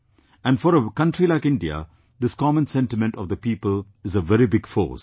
And for a country like India, this common sentiment of the people is a very big force